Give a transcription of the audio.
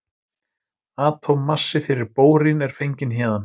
Atómmassi fyrir bórín er fenginn héðan.